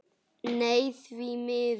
Nei því miður.